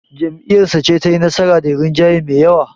Jam'iyyarsa ce tayi nasara da rinjaye me yawa.